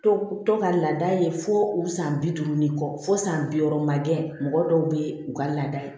To tɔ ka laada ye fo u san bi duuru ni kɔ fɔ san bi wɔɔrɔ man gɛlɛn mɔgɔ dɔw bɛ u ka laada ye